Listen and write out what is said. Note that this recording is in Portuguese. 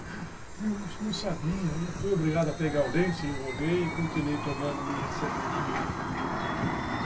E eu não sabia, fui obrigado a pegar o lenço, enrolei e continuei tomando minha cervejinha.